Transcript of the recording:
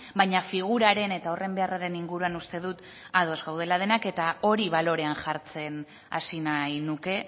baina figuraren eta horren beharraren inguruan uste dut ados gaudela denak eta hori balorean jartzen hasi nahi nuke